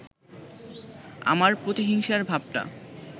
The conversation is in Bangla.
আমার প্রতিহিংসার ভাবটা